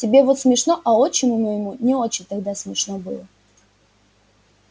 тебе вот смешно а отчиму моему не очень тогда смешно было